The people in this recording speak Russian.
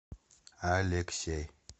алексей